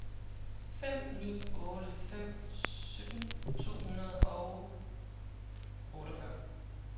fem ni otte fem sytten to hundrede og otteogfyrre